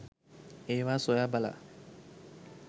ඒවා සොයා බලා